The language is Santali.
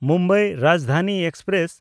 ᱢᱩᱢᱵᱟᱭ ᱨᱟᱡᱽᱫᱷᱟᱱᱤ ᱮᱠᱥᱯᱨᱮᱥ